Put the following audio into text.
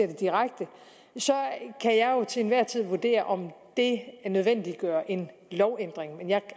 det direkte til enhver tid kan vurdere om det nødvendiggør en lovændring men jeg